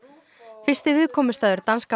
fyrsti viðkomustaður danska